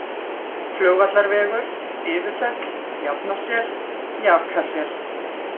Flugvallarvegur, Iðufell, Jafnasel, Jakasel